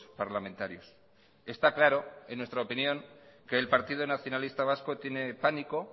parlamentarios está claro en nuestra opinión que el partido nacionalista vasco tiene pánico